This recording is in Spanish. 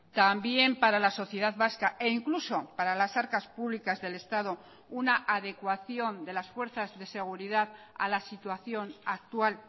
también para la sociedad vasca e incluso para las arcas públicas del estado una adecuación de las fuerzas de seguridad a la situación actual